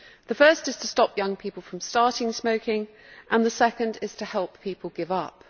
The first is to stop young people from starting smoking and the second is to help people give up.